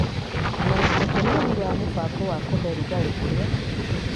na ũtũmĩri wa mũbango wa kũhe rũgarĩ ũrĩa